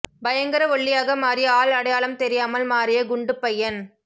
பயங்கர ஒல்லியாக மாறி ஆள் அடையாளம் தெரியாமல் மாறிய குண்டு பையன்